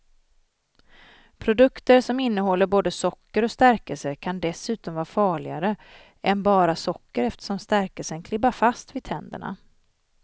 Produkter som innehåller både socker och stärkelse kan dessutom vara farligare än bara socker eftersom stärkelsen klibbar fast vid tänderna.